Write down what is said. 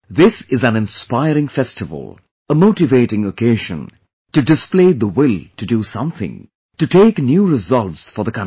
This is an inspiring festival, a motivating occasion , to display the will to do something, to take new resolves for the country